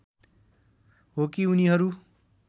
हो कि उनीहरू